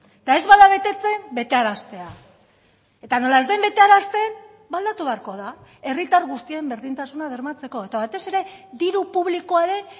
eta ez bada betetzen betearaztea eta nola ez den betearazten ba aldatu beharko da herritar guztien berdintasuna bermatzeko eta batez ere diru publikoaren